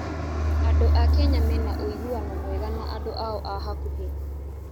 Andũ a Kenya mena ũiguano mwega na andũ ao a hakuhĩ.